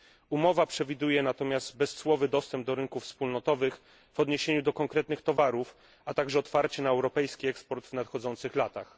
Umowa przewiduje natomiast bezcłowy dostęp do rynków wspólnotowych, w odniesieniu do konkretnych towarów, a także otwarcie na europejski eksport w nadchodzących latach.